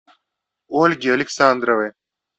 ольги александровой